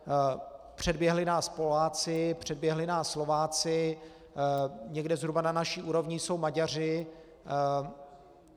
Předběhli nás Poláci, předběhli nás Slováci, někde zhruba na naší úrovni jsou Maďaři.